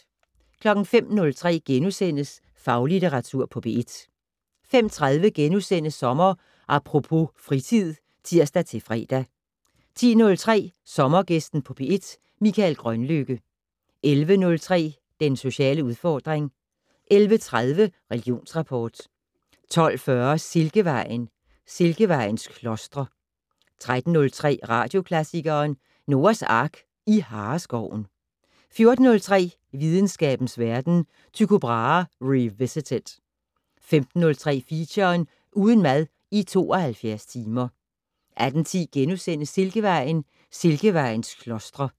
05:03: Faglitteratur på P1 * 05:30: Sommer Apropos - fritid *(tir-fre) 10:03: Sommergæsten på P1: Mikael Grønlykke 11:03: Den sociale udfordring 11:30: Religionsrapport 12:40: Silkevejen: Silkevejens klostre 13:03: Radioklassikeren: Noahs Ark i Hareskoven 14:03: Videnskabens Verden: Tycho Brahe revisited 15:03: Feature: Uden mad i 72 timer 18:10: Silkevejen: Silkevejens klostre *